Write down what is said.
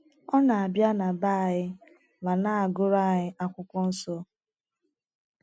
Ọ na - abịa na be anyị ma na - agụrụ anyị akwụkwọnsọ.